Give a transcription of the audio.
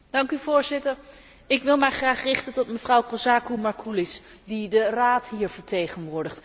Voorzitter, ik wil mij graag richten tot mevrouw Kozakou Marcoullis, die de Raad hier vertegenwoordigt.